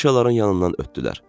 Afişaların yanından ötdülər.